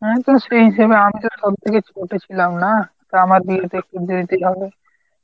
হ্যাঁ তা সেই হিসেবে আমি তো সব থেকে ছোট ছিলাম না? তো আমার বিয়ে তো একটু দেরিতেই হবে।